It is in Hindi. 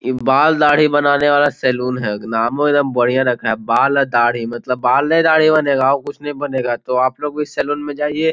इ बाल दाढ़ी बनाने वाला सैलून है नाम बहुत बढ़िया रखा है बाल और दाढ़ी मतलब बाले दाढ़ी बनेगा और कुछ नहीं बनेगा तो आपलोग भी सैलून जाइए।